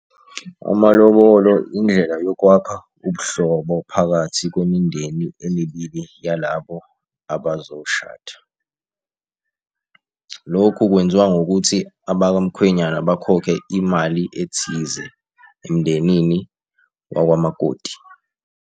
Amalobolo indlela yokwakha ubuhlobo phakathi kwemindeni emibili yalabo abazoshada. Lokhu kwenziwa ngokuthi abakamkhwenyana bakhokhe imali ethize, emndenini wakwamakoti.